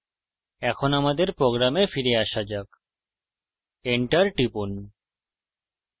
এখন আমাদের প্রোগ্রামে ফিরে আসা যাক enter টিপুন